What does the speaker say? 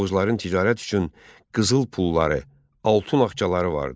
Oğuzların ticarət üçün qızıl pulları, altun ağçaları vardı.